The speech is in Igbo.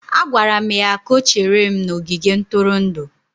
Agwara m ya ka o chere m n'ogige ntụrụndụ.